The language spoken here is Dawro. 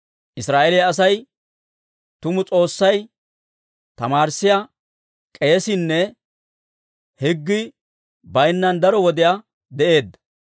Israa'eeliyaa Asay tumu S'oossay, tamaarissiyaa k'eesiinne higgii baynnan daro wodiyaa de'eedda.